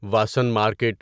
Vasan market